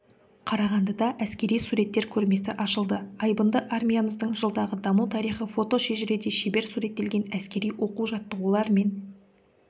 қарағандыда әскери суреттер көрмесі ашылды айбынды армиямыздың жылдағы даму тарихы фотошежіреде шебер суреттелген әскери оқу-жаттығулар мен